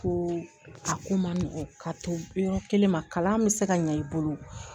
Ko a ko man nɔgɔn ka to yɔrɔ kelen ma kalan be se ka ɲa i bolo